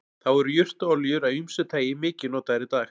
þá eru jurtaolíur af ýmsu tagi mikið notaðar í dag